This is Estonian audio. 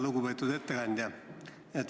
Lugupeetud ettekandja!